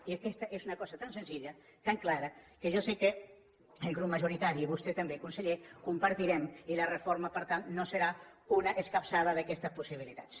i aquesta és una cosa tan senzilla tan clara que jo sé que el grup majoritari i vostè també conseller compartirem i la reforma per tant no serà una escapçada d’aquestes possibilitats